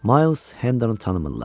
Mayls Hendonu tanımırlar.